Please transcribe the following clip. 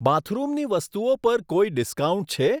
બાથરૂમની વસ્તુઓ પર કોઈ ડિસ્કાઉન્ટ છે?